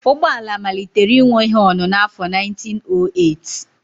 Ụgbọ ala malitere inwe họnụ n'afọ 1908